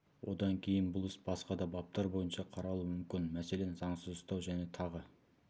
одан кейін бұл іс басқа да баптар бойынша қаралуы мүмкін мәселен заңсыз ұстау және тағы